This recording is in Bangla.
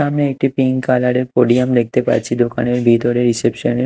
আমি একটি পিঙ্ক কালার -এর দেখতে পাচ্ছি দোকানের ভিতরে রিসেপশন -এ।